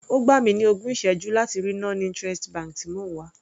Ó gbà mi ní ogún ìsẹ́jú láti rí non interest bank tí mò ń wá.